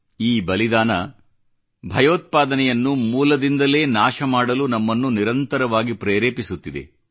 ಈ ಬಲಿದಾನ ಭಯೋತ್ಪಾದನೆಯನ್ನು ಮೂಲದಿಂದಲೇ ನಾಶ ಮಾಡಲು ನಮ್ಮನ್ನು ನಿರಂತರವಾಗಿ ಪ್ರೇರೆಪಿಸುತ್ತಿದೆ